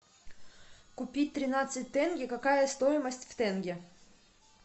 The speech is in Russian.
купить тринадцать тенге какая стоимость в тенге